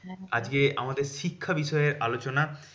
আজকে আমাদের শিক্ষা বিষয়ে আলোচনাটা